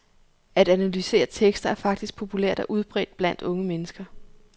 At analysere tekster er faktisk populært og udbredt blandt unge mennesker.